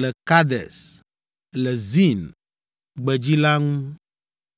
le Kades, le Zin gbedzi la ŋu.)